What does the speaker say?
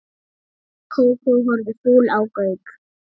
Kókó horfði fúl á Gauk.